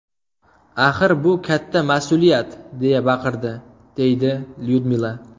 Axir bu katta mas’uliyat!’ deya baqirdi”, deydi Lyudmila.